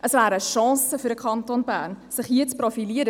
Es wäre eine Chance für den Kanton Bern, sich hier zu profilieren.